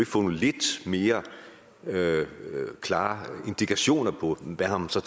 få nogle lidt mere klare indikationer på hvad man så